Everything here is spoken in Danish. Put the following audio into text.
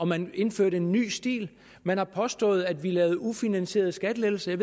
man ville indføre en ny stil man har påstået at vi lavede ufinansierede skattelettelser